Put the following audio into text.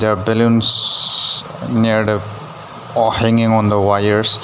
the balloons near the all hanging on the wires.